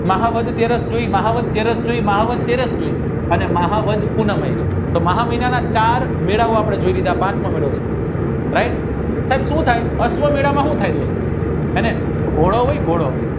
મહાવદ પૂનમ મહામહિનાના ચાર મેળવવા પડે છે જે આ પાંચમો મેળો છે right સાહેબ સુ થાય અશ્વ મેલા માં સુ હોય ઘોડો હોય ને ઘોડો